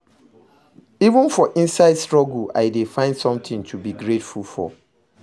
Even for inside struggle, I dey find something to be grateful for